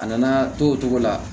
A nana to o cogo la